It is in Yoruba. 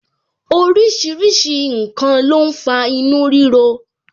Orísìírísìí n kan ló ń fa inú rírọ